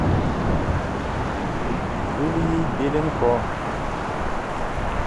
юлией беленко